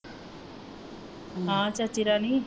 ਹਾਂ ਚਾਚੀ ਰਾਣੀ